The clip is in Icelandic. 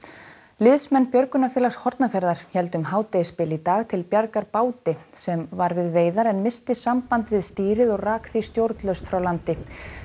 liðsmenn björgunarfélags Hornafjarðar héldu um hádegisbil í dag til bjargar báti sem var við veiðar en missti samband við stýrið og rak því stjórnlaust frá landi